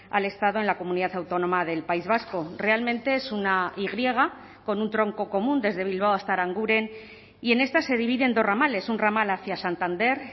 al estado en la comunidad autónoma del país vasco realmente es una y griega con un tronco común desde bilbao hasta aranguren y en esta se divide en dos ramales un ramal hacia santander